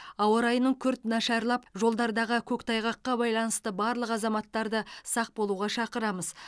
ауа райының күрт нашарлап жолдардағы көктайғаққа байланысты барлық азаматтарды сақ болуға шақырамыз